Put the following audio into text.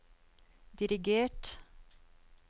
dirigert